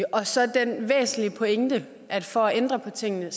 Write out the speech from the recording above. og så den væsentlige pointe at for at ændre på tingene